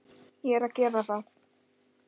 Ég er að gera það.